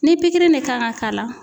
Ni pikirin ne kan ŋa k'a la